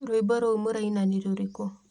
rwĩmbo rũu mũraina nĩ rũrĩkũ